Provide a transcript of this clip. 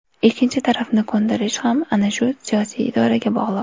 Ikkinchi tarafni ko‘ndirish ham ana shu siyosiy irodaga bog‘liq.